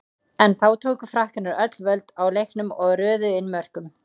En þá tóku Frakkarnir öll völd á leiknum og röðuðu inn mörkum.